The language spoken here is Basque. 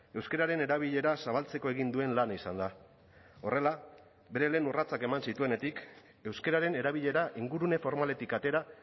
euskararen erabilera zabaltzeko egin duen lana izan da horrela bere lehen urratsak eman zituenetik euskararen erabilera ingurune formaletik atera